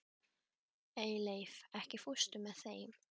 Eyleif, ekki fórstu með þeim?